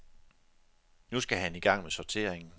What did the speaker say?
Nu skal han i gang med sorteringen.